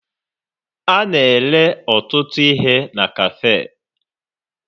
A na-ere ọtụtụ ihe na kafee.